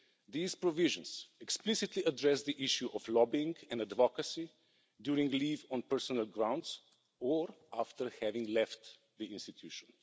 These provisions explicitly address the issue of lobbying in a democracy during leave on personal grounds or after having left the institution.